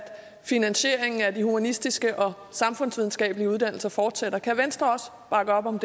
finansieringen af de humanistiske og samfundsvidenskabelige uddannelser fortsætter kan venstre også bakke op om